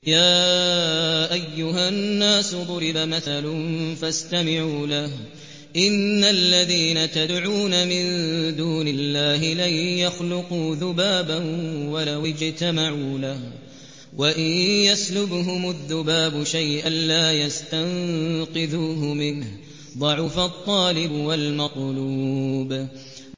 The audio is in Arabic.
يَا أَيُّهَا النَّاسُ ضُرِبَ مَثَلٌ فَاسْتَمِعُوا لَهُ ۚ إِنَّ الَّذِينَ تَدْعُونَ مِن دُونِ اللَّهِ لَن يَخْلُقُوا ذُبَابًا وَلَوِ اجْتَمَعُوا لَهُ ۖ وَإِن يَسْلُبْهُمُ الذُّبَابُ شَيْئًا لَّا يَسْتَنقِذُوهُ مِنْهُ ۚ ضَعُفَ الطَّالِبُ وَالْمَطْلُوبُ